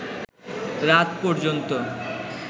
রাত পর্যন্ত